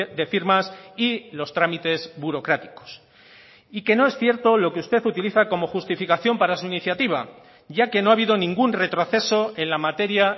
de firmas y los trámites burocráticos y que no es cierto lo que usted utiliza como justificación para su iniciativa ya que no ha habido ningún retroceso en la materia